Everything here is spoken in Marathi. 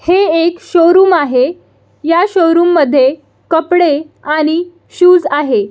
हे एक शोरूम आहे ह्या शोरूम मध्ये कपडे आणि शूज आहे.